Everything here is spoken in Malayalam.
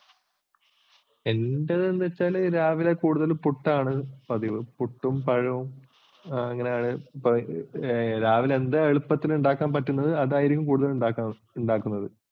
എൻ്റെതെന്നു വച്ചാല് രാവിലെ കൂടുതൽ പുട്ടാണ് പതിവ് പുട്ടും പഴവും അങ്ങനെ രാവിലെ എന്താണ് എളുപ്പത്തില് ഉണ്ടാക്കാൻ പറ്റുന്നത് അതാണ് കൂടുതൽ ഉണ്ടാക്കുന്നത്.